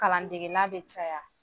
Kalandegela bɛ caya